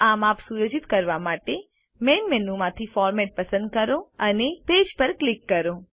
આ માપ સુયોજિત કરવા માટે Main મેનુ માંથીFormat પસંદ કરો અને પેજ પર ક્લિક કરો